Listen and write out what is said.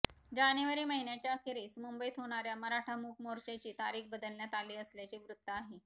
जानेवारी महिन्याच्या अखेरीस मुंबईत होणार्या मराठा मूक मोर्चाची तारीख बदलण्यात आली असल्याचे वृत्त आहे